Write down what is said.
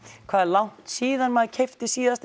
hvað er langt síðan maður keypti síðast